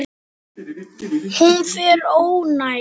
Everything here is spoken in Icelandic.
Hún er óánægð.